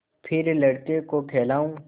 फिर लड़के को खेलाऊँ